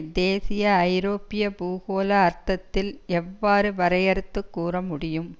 தேசிய ஐரோப்பிய பூகோள அர்த்தத்தில் எவ்வாறு வரையறுத்துக் கூற முடியும்